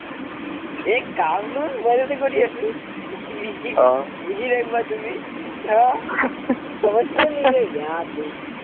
এ কামনো mobile কৰি আছো busy থাকিবা তুমি समजता नही है य़ार तुम